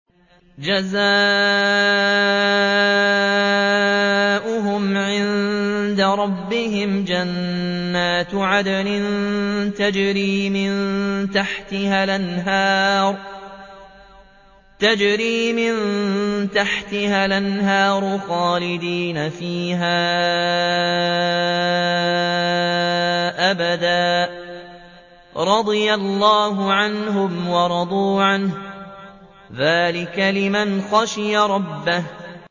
جَزَاؤُهُمْ عِندَ رَبِّهِمْ جَنَّاتُ عَدْنٍ تَجْرِي مِن تَحْتِهَا الْأَنْهَارُ خَالِدِينَ فِيهَا أَبَدًا ۖ رَّضِيَ اللَّهُ عَنْهُمْ وَرَضُوا عَنْهُ ۚ ذَٰلِكَ لِمَنْ خَشِيَ رَبَّهُ